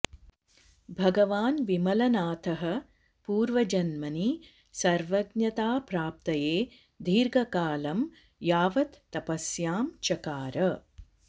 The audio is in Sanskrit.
भगवान् विमलनाथः पूर्वजन्मनि सर्वज्ञताप्राप्तये दीर्घकालं यावत् तपस्यां चकार